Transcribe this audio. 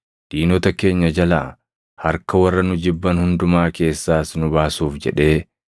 diinota keenya jalaa, harka warra nu jibban hundumaa keessaas nu baasuuf jedhee